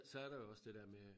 Så er der jo også det dér med